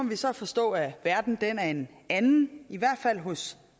vi så forstå at verden er en anden i hvert fald hos